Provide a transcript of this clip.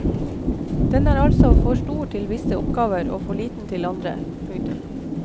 Den er altså for stor til visse oppgaver og for liten til andre. punktum